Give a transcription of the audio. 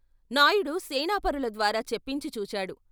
నాయుడు సేనాపరుల ద్వారా చెప్పించి చూచాడు.